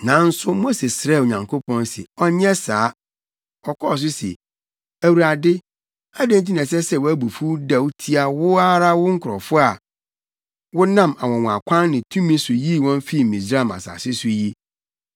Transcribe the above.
Nanso Mose srɛɛ Onyankopɔn sɛ ɔnyɛ saa. Ɔkɔɔ so se, “ Awurade, adɛn nti na ɛsɛ sɛ wʼabufuw dɛw atia wo ara wo nkurɔfo a wonam anwonwakwan ne wo tumi so yii wɔn fii Misraim asase so yi?